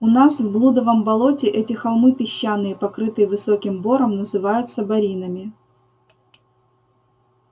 у нас в блудовом болоте эти холмы песчаные покрытые высоким бором называются боринами